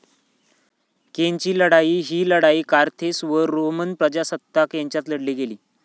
कॅन्नेची लढाई ही लढाई कारथेस व रोमन प्रजासत्ताक यांच्यात लढली गेली.